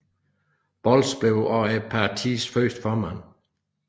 Bolz blev også partiets første formand